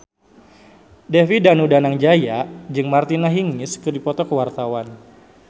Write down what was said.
David Danu Danangjaya jeung Martina Hingis keur dipoto ku wartawan